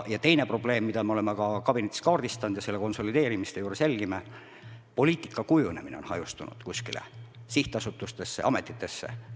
Teine probleem, mida me oleme ka kabinetis kaardistanud ja selle konsolideerimise juures jälgime, on see, et poliitika kujunemine on hajunud kuskile sihtasutustesse-ametitesse.